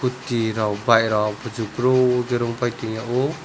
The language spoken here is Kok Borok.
tea rok bike rok kuchu boro khe rungpai tongya o.